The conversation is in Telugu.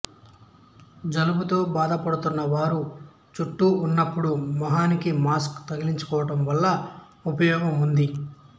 జలుబుతో బాధపడుతున్న వారు చుట్టూ ఉన్నప్పుడు ముఖానికి మాస్కు తగిలించుకోవడం వల్ల ఉపయోగం ఉంది